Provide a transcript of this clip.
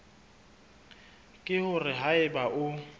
ke hore ha eba o